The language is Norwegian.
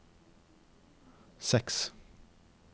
seks